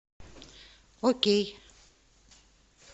окей